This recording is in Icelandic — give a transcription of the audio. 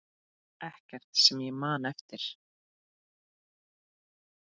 Ekkert sem ég man eftir.